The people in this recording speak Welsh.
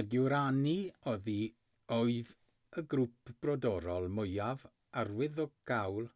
y guaraní oedd y grŵp brodorol mwyaf arwyddocaol